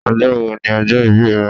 Ọjọ́ wo ni ọjọ́ ìbí rẹ?